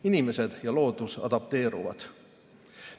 Inimesed ja loodus adapteeruvad.